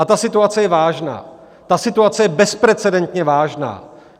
A ta situace je vážná, ta situace je bezprecedentně vážná.